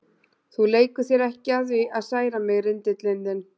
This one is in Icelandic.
Þú leikur þér ekki að því að særa mig, rindillinn þinn.